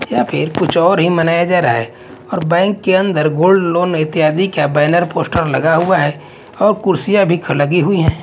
या फिर कुछ और ही मनाया जा रहा है और बैंक के अन्दर गोल्ड लोन इत्यादि का बैनर पोस्टर लगा हुआ है और कुर्सियां भी लगी हुई है।